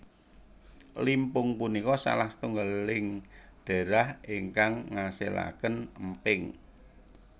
Limpung punika salah satunggaling daerah ingkang ngasilaken Emping